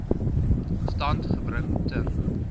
stand gebring ter